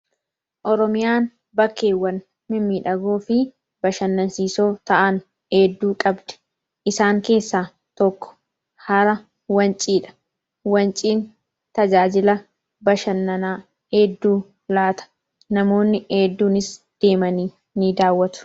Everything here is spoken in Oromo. Oromiyaan iddoowwan bashannansiisoo fi dinqisiisoo ta'an hedduu qabdi esaan keessaa tokko hara wanciiti. Wanciin tajaajila bashannanaa hedduu laata. Namoonni hedduunis deemanii ni daawwatu.